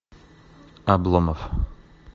обломов